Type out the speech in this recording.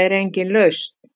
er engin lausn.